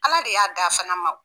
Ala de y'a d'a fana ma o.